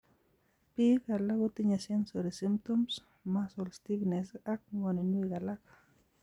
Biik alak kotinye sensory symptoms, muscle stiffness, ak ng'woninwek alak